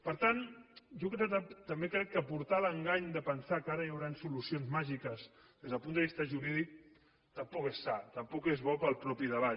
per tant jo també crec que portar a l’engany de pensar que ara hi hauran solucions màgiques des del punt de vista jurídic tampoc és sa tampoc és bo per al mateix debat